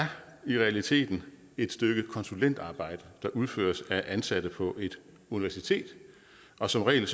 i realiteten et stykke konsulentarbejde der udføres af ansatte på et universitet og som regel